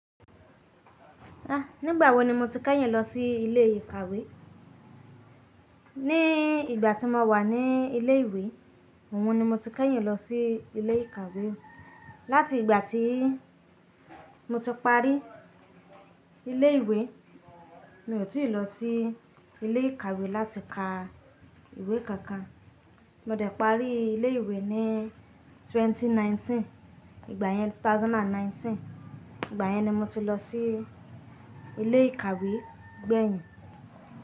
Ah! Nígbà wo ni mo ti kẹ́yìn lọ sí ilé ìkàwé? Ní ìgbà tí mo wà ní ilé ìwé, òun ni mo ti kẹ́yìn lọ sí ilé ìkàwé. Láti ìgbà tí mo ti parí ilé ìwé, mi ò tìí lọ sí ilé ìkàwé láti ka ìwé kankan. Mo dẹ̀ parí ilé ìwé ní ẹgbẹ̀rún méjì ó lé mọ́kàndínlógún. Ìgbà yẹn, ẹgbẹ̀rún méjì ó lé mọ́kàndínlógún. Ìgbà yẹn ni mo ti lọ sí ilé ìkàwé gbẹ̀yìn.